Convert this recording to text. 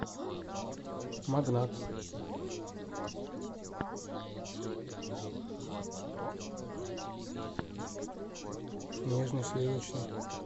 магнат нежный сливочный